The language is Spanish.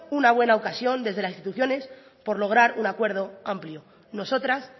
una buena ocasión desde las instituciones por lograr un acuerdo amplio nosotras